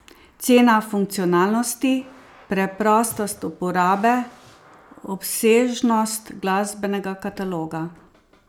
Cena, funkcionalnosti, preprostost uporabe, obsežnost glasbenega kataloga.